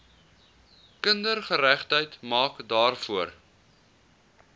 kindergeregtigheid maak daarvoor